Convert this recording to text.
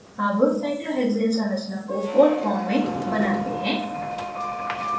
अब cyclohexane संरचना को boat form में बनाते हैं